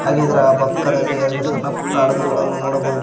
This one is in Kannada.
ಹಾಗೆ ಇದರ ಪಕ್ಕದಲ್ಲಿ ಎರಡು ಸಣ್ಣ ಪುಟ್ಟ ಹಗಡುಗಳನ್ನು ನೋಡಬಹುದು.